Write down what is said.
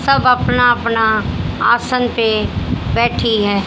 सब अपना अपना आसन पे बैठी है।